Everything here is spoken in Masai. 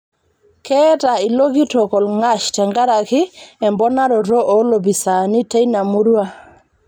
Keeta ilo kitok olng'ash tenkaraki emponaroto oo loopisaani teina murua